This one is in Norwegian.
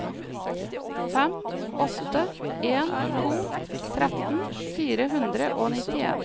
fem åtte en to tretten fire hundre og nittien